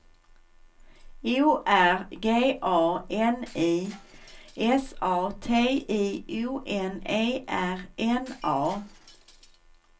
O R G A N I S A T I O N E R N A